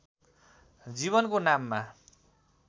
जीवनको नाममा